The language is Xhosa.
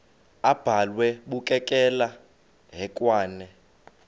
abhalwe bukekela hekwane